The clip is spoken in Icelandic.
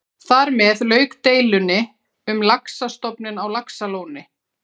Þar með lauk deilunni um laxastofninn á Laxalóni.